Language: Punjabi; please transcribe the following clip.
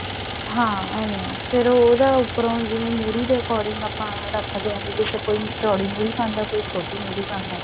ਹਾਂ ਏਵੇਂ ਆ ਫ਼ੇਰ ਉਹਦਾ ਉੱਪਰੋਂ ਜਿਵੇਂ ਮੁਰ੍ਹੀ ਦੇ according ਆਪਾਂ ਰੱਖਦੇ ਹਾਂ ਜਿਹਦੇ ਚ ਕੋਈ ਚੋਡੀ ਮੁਰ੍ਹੀ ਪਾਉਂਦਾ ਕੋਈ ਛੋਟੀ ਮੁਰ੍ਹੀ ਪਾਉਂਦਾ